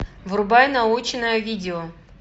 врубай научное видео